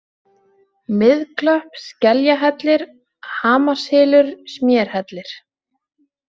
Miðklöpp, Skeljahellir, Hamarshylur, Smérhellir